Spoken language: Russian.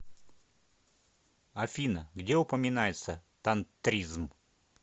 афина где упоминается тантризм